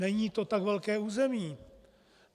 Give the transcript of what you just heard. Není to tak velké území.